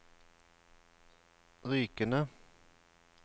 Rykene